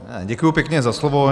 Děkuji pěkně za slovo.